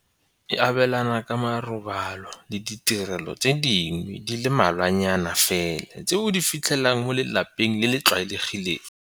e abelana ka ma robalo le ditirelo tse dingwe di le mmalwanyana fela tse o di fitlhelang mo lelapeng le le tlwaelegileng.